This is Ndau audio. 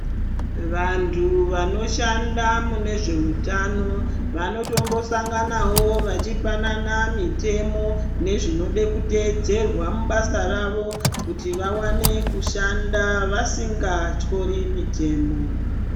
Vantu vanoshanda mune zveutano vanotombosanganawo vachipanana mitemo yezvinoda kuteedzerwa mubasa ravo kuti vawane kushanda vasingatyori mitemo.